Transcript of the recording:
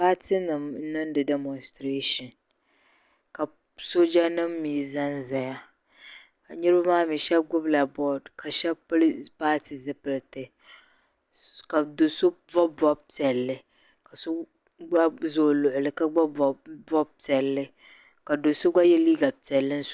paatinima n-niŋ diɛmɔsitireeshin ka soojanima mi zanzaya ka niriba maa mi shɛba gbubila doodi ka shɛba pili paati zipiliti ka do' bɔbi bɔb' piɛlli ka so gba za o luɣili ka gba bɔbi bɔb' piɛlli ka do' so gba ye liiga piɛlli